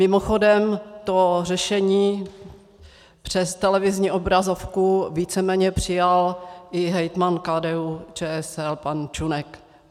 Mimochodem, to řešení přes televizní obrazovku víceméně přijal i hejtman KDU-ČSL pan Čunek.